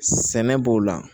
Sɛnɛ b'o la